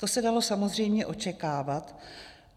To se dalo samozřejmě očekávat.